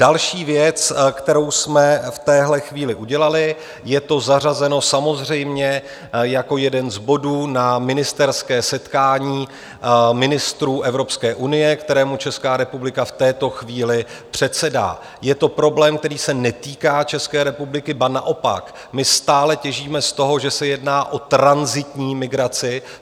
Další věc, kterou jsme v téhle chvíli udělali - je to zařazeno samozřejmě jako jeden z bodů na ministerské setkání ministrů Evropské unie, kterému Česká republika v této chvíli předsedá - je to problém, který se netýká České republiky, ba naopak, my stále těžíme z toho, že se jedná o tranzitní migraci.